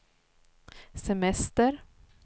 semester